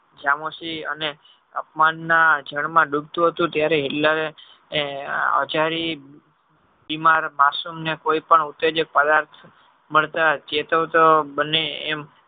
સામુઝિ અને અપમાન માં જળ માં ડુબતું હતું ત્યારે Hitler ઇમાર માસુમ ને કોઈ પણ ઉત્તેજે ફરાર મળતા ચેતાવતો પતે